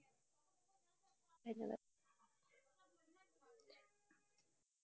ধন্যবাদ।